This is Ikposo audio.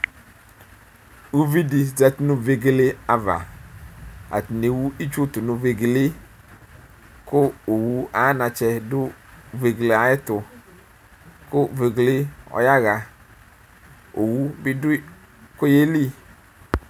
Ʋvi di zati nʋ vegele ava atani ewʋ itsʋ tunu vegele yɛ kʋ owʋ ayʋ antsɛ dʋ vegele yɛ ayʋ ɛtʋ kʋ vegele ɔyaxa owʋ bidʋ kʋ ɔyeli